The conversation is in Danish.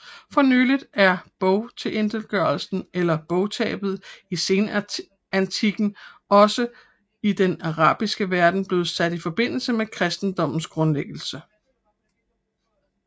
For nylig er bogtilintetgørelsen eller bogtabet i senantikken også i den arabiske verden blevet sat i forbindelse med kristendommens grundlæggelse